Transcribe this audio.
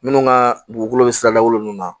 Minnu ka dugukolo bɛ sira lagolo ninnu na